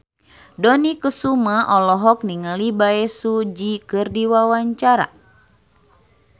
Dony Kesuma olohok ningali Bae Su Ji keur diwawancara